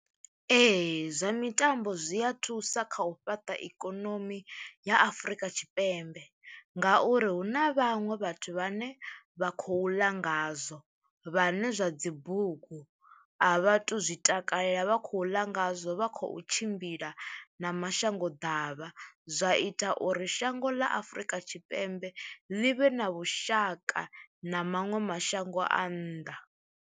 Ee zwa mitambo zwi a thusa kha u fhaṱa ikonomi ya Afrika Tshipembe ngauri hu na vhaṅwe vhathu vha ne vha khou ḽa ngazwo vhane zwa dzi bugu a vha tu zwi takalela vha khou ḽa ngazwo vha khou tshimbila na mashango ḓavha, zwa ita uri shango ḽa Afrika Tshipembe ḽi vhe na vhushaka na maṅwe mashango a nnḓa.